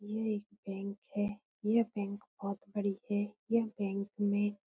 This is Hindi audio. यह बैंक है यह बैंक बहुत बड़ी है यह बैंक में --